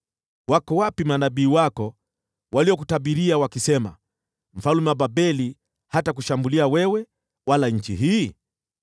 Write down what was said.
Wako wapi manabii wako waliokutabiria wakisema, ‘Mfalme wa Babeli hatakushambulia wewe wala nchi hii?’